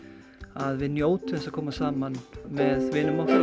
að við njótum að koma saman með vinum okkar